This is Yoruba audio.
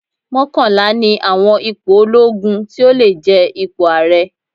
Mọ́kànlá ni àwọn ipò olóogun tí ó lè jẹ ipò ààrẹ.